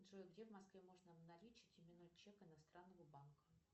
джой где в москве можно обналичить именной чек иностранного банка